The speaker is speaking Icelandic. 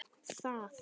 Það er ágæt regla.